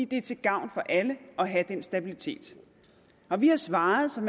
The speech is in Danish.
det er til gavn for alle at have den stabilitet vi har svaret som